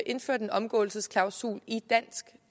indført en omgåelsesklausul i dansk